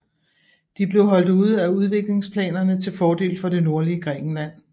De blev holdt ude af udviklingsplanerne til fordel for det nordlige Grækenland